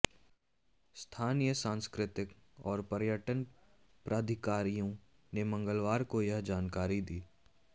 स्थानीय सांस्कृतिक और पर्यटन प्राधिकारियों ने मंगलवार को यह जानकारी दी